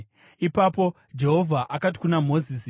Ipapo Jehovha akati kuna Mozisi,